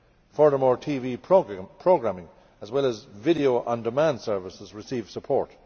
Furthermore TV programming as well as video on demand services receive support.